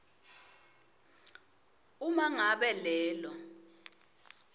uma ngabe lelo